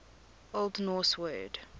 old norse word